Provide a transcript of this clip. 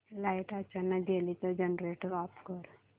light अचानक गेली तर जनरेटर ऑफ कर